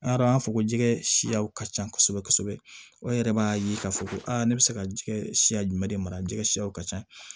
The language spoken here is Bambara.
An y'a dɔn an b'a fɔ ko jɛgɛ siyaw ka ca kosɛbɛ kosɛbɛ o yɛrɛ b'a ye k'a fɔ ko ne bɛ se ka jɛgɛ siya jumɛn de mara jɛgɛ siyaw ka ca